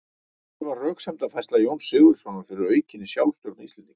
Hver var röksemdafærsla Jóns Sigurðssonar fyrir aukinni sjálfstjórn Íslendinga?